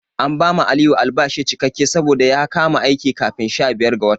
An bawa Aliyu albashi cikakke saboda ya kama aiki kafin sha biyar ga watan.